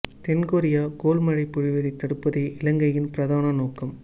தென் Korea goal மழை பொழிவதை தடுப்பதே இலங்கையின் பிரதான நோக்கம்